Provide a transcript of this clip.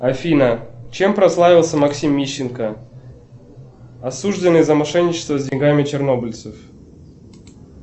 афина чем прославился максим мищенко осужденный за мошенничество с деньгами чернобыльцев